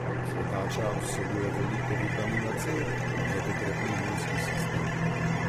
Cvetača vsebuje veliko vitamina C, zato krepi imunski sistem.